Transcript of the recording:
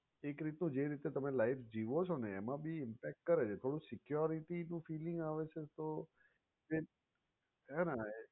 એક રીતનું તમે જે તમે life જીવો છો ને એમા ભી impact કરે છે થોડું security નું felling આવે છે તો એક ના ના